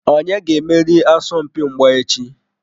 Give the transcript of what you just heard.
Onye ga-emeri asọmpi mgba echi?